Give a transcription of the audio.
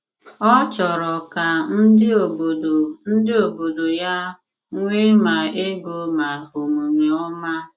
Ọ chọrọ ka ndị obodo ndị obodo ya nwee ma ego ma omume ọma.